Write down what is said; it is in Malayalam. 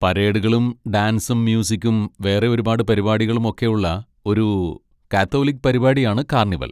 പരേഡുകളും ഡാൻസും മ്യൂസിക്കും വേറെ ഒരുപാട് പരിപാടികളും ഒക്കെ ഉള്ള ഒരു കാത്തോലിക് പരിപാടിയാണ് കാർണിവൽ.